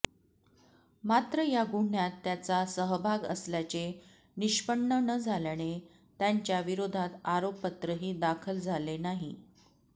मात्र या गुन्ह्यात त्याचा सहभाग असल्याचे निष्पन्न न झाल्याने त्यांच्या विरोधात आरोपपत्रही दाखल झाले नाही